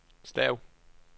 stav